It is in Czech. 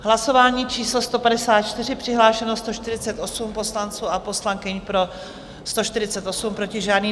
Hlasování číslo 154, přihlášeno 148 poslanců a poslankyň, pro 148, proti žádný.